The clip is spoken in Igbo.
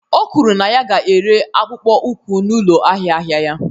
O kwuru na ya ga-ere akpụkpọ ụkwụ n'ụlọ ahịa ahịa ya